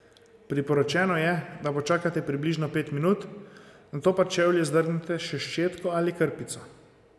Priporočeno je, da počakate približno pet minut, nato pa čevlje zdrgnete še s ščetko ali krpico.